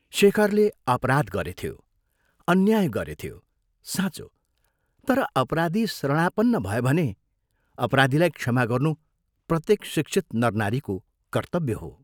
शेखरले अपराध गरेथ्यो अन्याय गरेथ्यो साँचो तर अपराधी शरणापन्न भयो भने अपराधीलाई क्षमा गर्नु प्रत्येक शिक्षित नरनारीको कर्तव्य हो।